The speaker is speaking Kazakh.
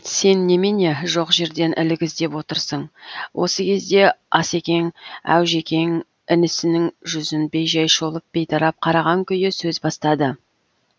сен немене жоқ жерден ілік іздеп отырсың осы кезде ас екең әужекең інісінің жүзін бейжай шолып бейтарап қараған күйі сөз бастады